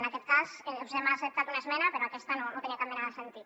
en aquest cas us hem acceptat una esmena però aquesta no tenia cap mena de sentit